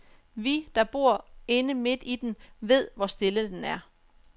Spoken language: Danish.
Vi, der bor inde midt i den, ved, hvor stille den er.